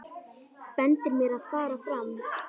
Bendir mér að fara fram.